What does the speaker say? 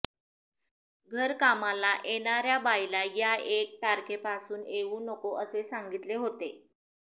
घरकामाला येणाऱ्या बाईला या एक तारखेपासून येऊ नको असे सांगितले होते